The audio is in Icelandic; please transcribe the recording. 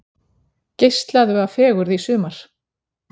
Geislaðu af fegurð í sumar